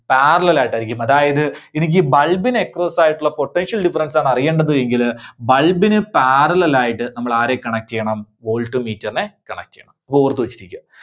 parallel ആയിട്ടായിരിക്കും. അതായത് എനിക്ക് bulb ന് across ആയിട്ടുള്ള potential difference ആണ് അറിയേണ്ടത് എങ്കില് bulb ന് parallel ആയിട്ട് നമ്മൾ ആരെ connect ചെയ്യണം? voltmeter നെ connect ചെയ്യണം. ഓർത്തുവെച്ചിരിക്കുക.